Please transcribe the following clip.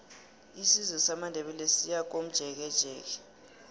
isizwe samandebele siyakomjekejeke